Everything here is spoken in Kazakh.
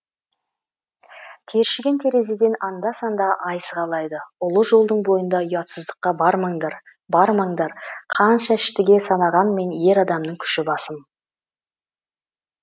тершіген терезеден анда санда ай сығалайды ұлы жолдың бойында ұятсыздыққа бармаңдар бармаңдар қанша іштіге санағанмен ер адамның күші басым